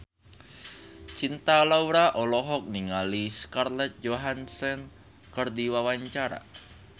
Cinta Laura olohok ningali Scarlett Johansson keur diwawancara